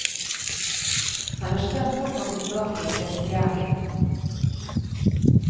Han er spent på å komme tilbake i prestegjerning.